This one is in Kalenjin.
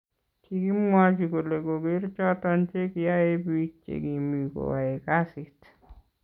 kikimwachi kole koger choton che kiae bik che kimi koae kasit